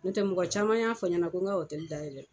N'o tɛ mɔgɔ caman y'a fɔ n ɲɛna ko n ga dayɛlɛ